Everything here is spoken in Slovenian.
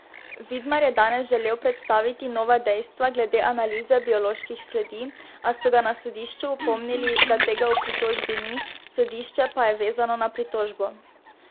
Vidmar je danes želel predstaviti nova dejstva glede analize bioloških sledi, a so ga na sodišču opomnili, da tega v pritožbi ni, sodišče pa je vezano na pritožbo.